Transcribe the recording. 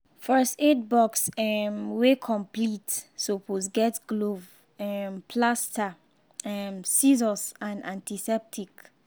first aid box um wey complete suppose get glove um plaster um scissors and antiseptic